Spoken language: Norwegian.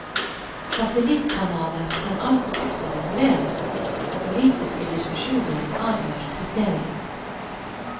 Satellittkanaler kan altså også reguleres, og politiske diskusjoner avgjør kriteriene.